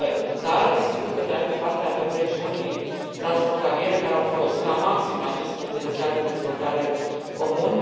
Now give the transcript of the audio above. Dar, sigur, pe de altă parte, avem regiuni transfrontaliere care au folosit la maxim acest potențial de dezvoltare comun.